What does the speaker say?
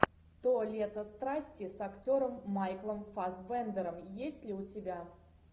то лето страсти с актером майклом фассбендером есть ли у тебя